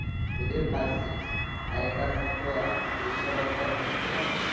ওদের কাছে আগেকার মত আহ এসব তো আর হত না